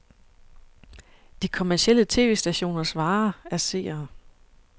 De kommercielle tv-stationers vare er seere.